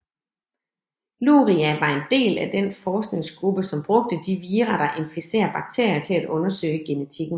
Luria var en del af en forskningsgruppe som brugte de vira der inficerer bakterier til at undersøge genetikken